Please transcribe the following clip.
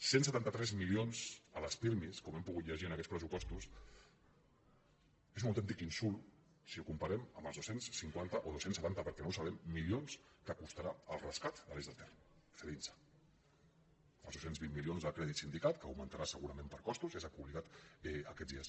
cent setanta tres milions a les pirmi com hem pogut llegir en aquests pressupostos és un autèntic insult si ho comparem amb els dos cents i cinquanta o dos cents i setanta perquè no ho sabem milions que costarà el rescat de de l’eix del ter cedinsa els dos cents i vint milions del crèdit sindicat que augmentarà segurament per costos ja s’ha publicat aquests dies